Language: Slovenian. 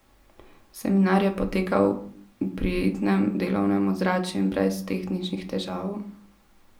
Seminar je potekal v prijetnem delovnem ozračju in brez tehničnih težav.